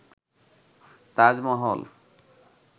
Taj Mahal